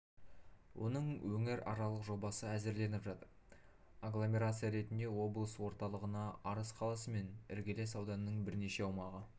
оның өңіраралық жобасы әзірленіп жатыр агломерация ретінде облыс орталығына арыс қаласы мен іргелес ауданның біршама аумағы